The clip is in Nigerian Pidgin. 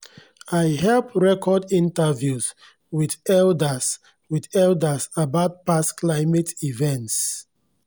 i help record interviews with eldaz with eldaz about past climate events